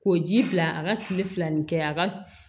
Ko ji bila a ka kile fila nin kɛ a ka